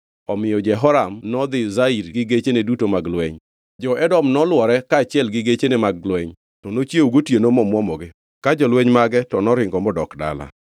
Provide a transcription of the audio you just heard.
Omiyo Jehoram nodhi Zair gi gechene duto mag lweny. Jo-Edom nolwore kaachiel gi gechene mag lweny, to nochiewo gotieno momwomogi; ka jolweny mage to noringo modok dala.